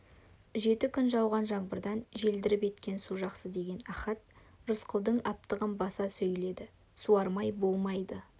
жеті күн жауған жаңбырдан желдіріп еткен су жақсы деген ахат рысқұлдың аптығын баса сөйледі суармай болмайды